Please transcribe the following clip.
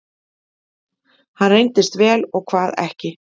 hvað reyndist vel og hvað ekki